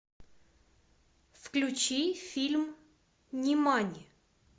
включи фильм нимани